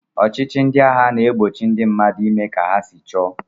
Ọchịchị ndị agha na-egbochi ndị mmadụ ime ka ha si chọọ